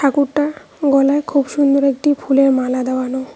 ঠাকুরটার গলায় খুব সুন্দর একটি ফুলের মালা দেওয়ানো।